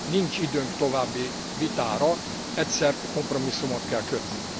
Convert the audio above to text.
Nincs időnk további vitára, egyszer kompromisszumot kell kötni.